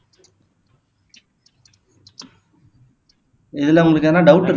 இதுல உங்களுக்கு எதாவது டவுட்